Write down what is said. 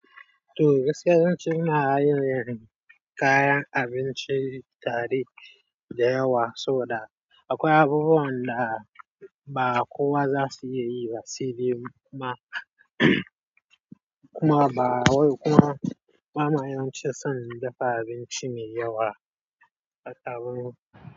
To gaskiya zan ina yin kayan abincin dare da yawa, sabo da akwai abubuwan da ba kowa za su iya yi ba sai dai kuma kuma ba wai kuma ba ma yan cin son dafa abinci mai yawa a taron.